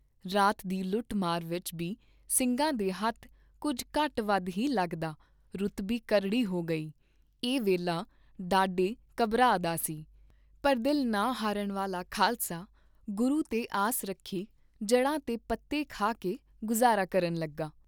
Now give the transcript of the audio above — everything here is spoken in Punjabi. ਰਾਤ ਦੀ ਲੁਟ ਮਾਰ ਵਿਚ ਬੀ ਸਿੰਘਾਂ ਦੇ ਹੱਥ, ਕੁੱਝ ਘਟ ਵੱਧ ਹੀ ਲੱਗਦਾ ਰੁਤ ਬੀ ਕਰੜੀ ਹੋ ਗਈ, ਇਹ ਵੇਲਾ ਡਾਢੇ ਘਬਰਾ ਦਾ ਸੀ, ਪਰ ਦਿਲ ਨਾ ਹਾਰਨ ਵਾਲਾ ਖਾਲਸਾ ਗੁਰੂ ਤੇ ਆਸ ਰੱਖੀ ਜੜ੍ਹਾਂ ਤੇ ਪੱਤੇ ਖਾ ਕੇ ਗੁਜ਼ਾਰਾ ਕਰਨ ਲੱਗਾ।